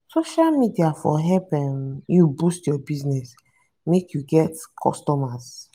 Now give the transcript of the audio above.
social media for help um you boost your business make you get customer.